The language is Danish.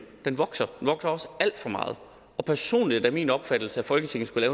den vokser og vokser også alt for meget personlig er det min opfattelse at folketinget skulle